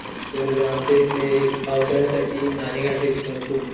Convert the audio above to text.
तर आमच्या इथे पावसाळ्यासाठी नाणेगाठेरी खूप